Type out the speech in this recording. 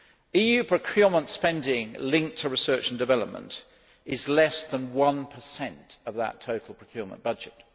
EU procurement spending linked to research and development is less than 1 of that total procurement budget.